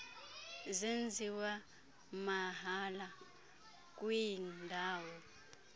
zenziwa mahala kwiindawo